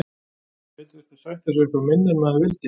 Maður gæti þurft að sætta sig við eitthvað minna en maður vildi.